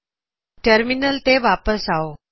ਆਪਣੇ ਟਰਮਿਨਲ ਤੇ ਵਾਪਸ ਆਓ